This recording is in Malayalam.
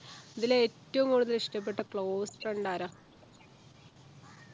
ഇതിൽ ഏറ്റവും കൂടുതൽ ഇഷ്ടപ്പെട്ട close friend ആരാ